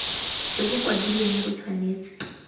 jo bo kwadilweng bo tshwanetse